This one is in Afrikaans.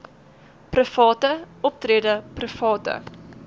private optrede private